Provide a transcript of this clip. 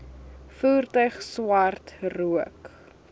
voertuig swart rook